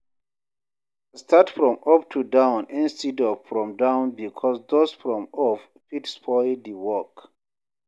Start from up to down instead of from down because dust from up fit spoil di work